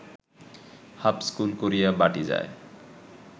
হাপ school করিয়া বাটী যায়